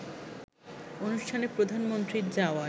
অনুষ্ঠানে প্রধানমন্ত্রীর যাওয়ার